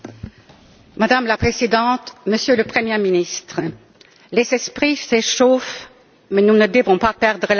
Madame la Présidente, Monsieur le Premier ministre, les esprits s'échauffent, mais nous ne devons pas perdre la tête.